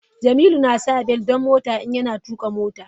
Jamilu na sa bel don mota in yana tuƙa mota.